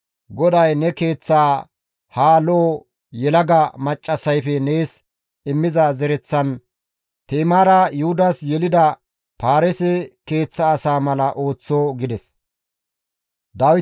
GODAY ne keeththaa ha lo7o yelaga maccassayfe nees immiza zereththan, Ti7imaara Yuhudas yelida Paareese keeththa asa mala ooththo» gides.